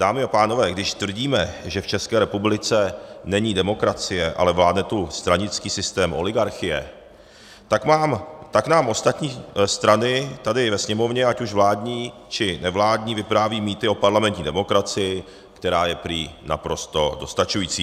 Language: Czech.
Dámy a pánové, když tvrdíme, že v České republice není demokracie, ale vládne tu stranický systém oligarchie, tak nám ostatní strany tady ve Sněmovně, ať už vládní, či nevládní, vyprávějí mýty o parlamentní demokracii, která je prý naprosto dostačující.